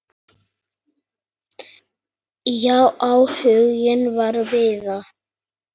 Já, áhuginn var víða.